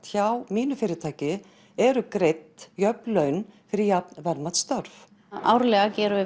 hjá mínu fyrirtæki eru greidd jöfn laun fyrir jafn verðmæt störf árlega gerum við